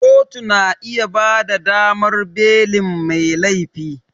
Kotu na iya bada damar belin mai laifi